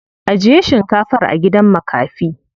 Ajiye shinkafar a gidan makafi.